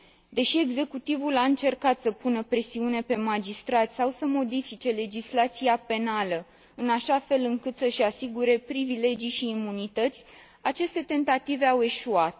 Deși executivul a încercat să pună presiune pe magistrați sau să modifice legislația penală în așa fel încât să și asigure privilegii și imunități, aceste tentative au eșuat.